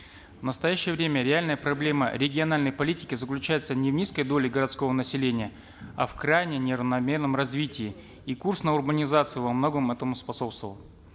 в настоящее время реальная проблема региональной политики заключается не в низкой доле городского населения а в крайне неравномерном развитии и курс на урбанизацию во многом этому способствовал